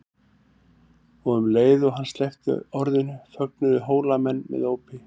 Og um leið og hann sleppti orðinu fögnuðu Hólamenn með ópi.